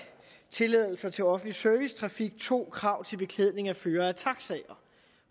tilladelser til offentlig servicetrafik 2 krav til beklædning af førere af taxier